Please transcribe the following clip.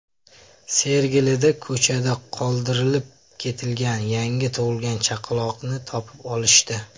Sergelida ko‘chada qoldirib ketilgan yangi tug‘ilgan chaqaloqni topib olishdi.